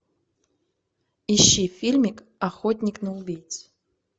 ищи фильмик охотник на убийц